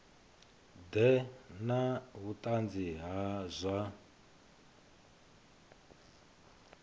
ḓe na vhuṱanzi ha zwa